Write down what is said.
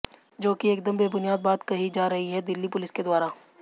जो कि एकदम बेबुनियाद बात कही जा रही है दिल्ली पुलिस के द्वारा